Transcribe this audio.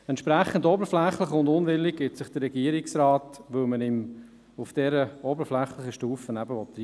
Entsprechend oberflächlich und unwillig gibt sich der Regierungsrat, weil man ihm in dieser oberflächlichen Weise dreinreden will.